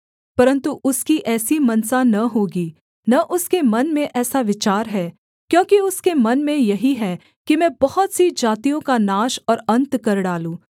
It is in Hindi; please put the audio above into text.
परन्तु उसकी ऐसी मनसा न होगी न उसके मन में ऐसा विचार है क्योंकि उसके मन में यही है कि मैं बहुत सी जातियों का नाश और अन्त कर डालूँ